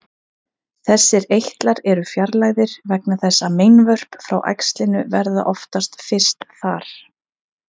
Þessir eitlar eru fjarlægðir vegna þess að meinvörp frá æxlinu verða oftast fyrst þar.